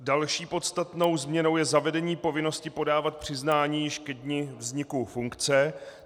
Další podstatnou změnou je zavedení povinnosti podávat přiznání již ke dni vzniku funkce.